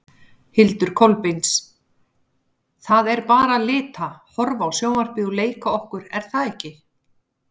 Hildur Kolbeins: Það er bara lita, horfa á sjónvarpið og leika okkur er það ekki?